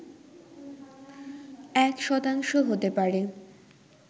১ শতাংশ হতে পারে